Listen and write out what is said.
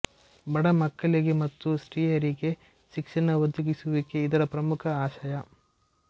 ಬಡಮಕ್ಕಳಿಗೆ ಮತ್ತು ಸ್ತ್ರೀಯರಿಗೆ ಶಿಕ್ಷಣ ಒದಗಿಸುವಿಕೆ ಇದರ ಪ್ರಮುಖ ಆಶಯ